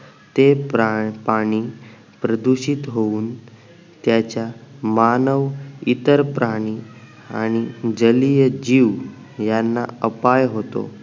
ते पाणी प्रदूषित होऊन त्याच्या मानव इतर प्राणी आणि जालीय जीव यांना अपाय होतो